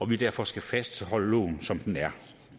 vi derfor skal fastholde loven som den er